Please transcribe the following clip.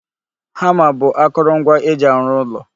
Hama bụ akoro ngwa e ji arụ ụlọ